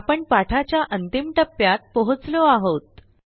आपण पाठाच्या अंतिम टप्प्यात पोहोचलो आहोत